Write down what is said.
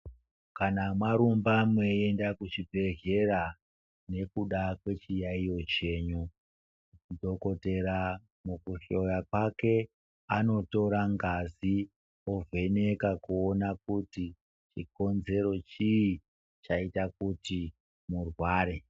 Kana marumba meiende kuchibhedhlera nekuda kechiyaiyo chenyu, dhokoteya mukuhloya kwake anotora ngazi ovheneka kuona kuti chikonzero chii chaita kuti murware.